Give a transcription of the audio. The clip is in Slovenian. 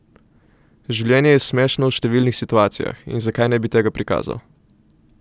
Življenje je smešno v številnih situacijah in zakaj ne bi tega prikazal?